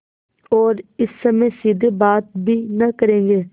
और इस समय सीधे बात भी न करेंगे